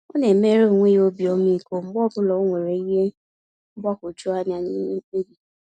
Ọna emere onwe ya obi ọmịiko mgbe ọbụla onwere ìhè mgbagwoju anya n'ime mkpebi.